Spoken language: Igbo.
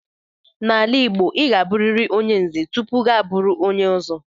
N'ala Igbo, ị ga-abụriri onye Nze tupu gị abụrụ onye Ọzọ.